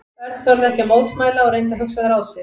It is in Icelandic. Örn þorði ekki að mótmæla og reyndi að hugsa ráð sitt.